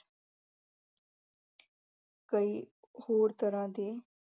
ਕਈ ਹੋਰ ਤਰਾਂ ਦੇ